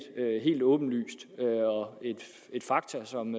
helt åbenlyst og et faktum som